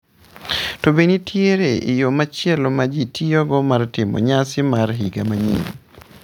To be nitie yo machielo ma ji tiyogo mar timo nyasi mar higa manyien?